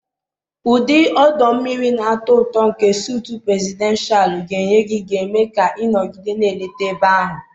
Ụdị ọdọ mmiri na-atọ ụtọ nke sutu presidenshalu ga-enye gị ga-eme ka ị nọgide na-eleta ebe ahụ.